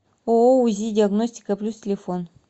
ооо узи диагностика плюс телефон